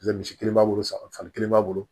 misi kelen b'a bolo san san kelen b'a bolo